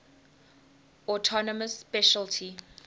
autonomous specialty